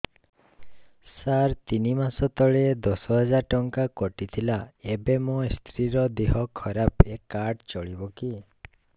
ସାର ତିନି ମାସ ତଳେ ଦଶ ହଜାର ଟଙ୍କା କଟି ଥିଲା ଏବେ ମୋ ସ୍ତ୍ରୀ ର ଦିହ ଖରାପ ଏ କାର୍ଡ ଚଳିବକି